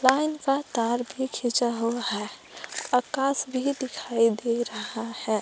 Line का तार भी खींचा हुआ है आकाश भी दिखाई दे रहा है।